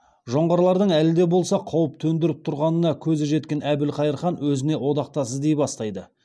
жоңғарлардың әлі де болса қауіп төндіріп тұрғанына көзі жеткен әбілқайыр хан өзіне одақтас іздей бастайды